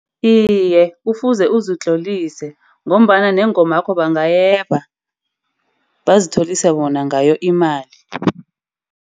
Iye, kufuze uzitlolise ngombana neengomakho bangayeba. Bazitholise bona ngayo imali.